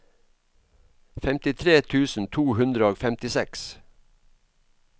femtitre tusen to hundre og femtiseks